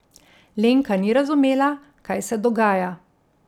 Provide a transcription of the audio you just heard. Lenka ni razumela, kaj se dogaja.